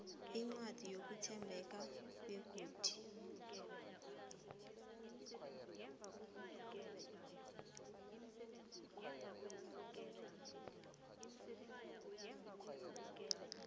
incwadi yokuthembeka begodu